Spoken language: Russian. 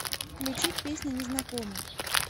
включить песня незнакомы